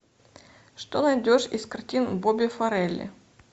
что найдешь из картин боби фарели